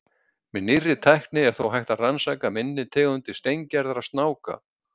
með nýrri tækni er þó hægt að rannsaka minni tegundir steingerðra snáka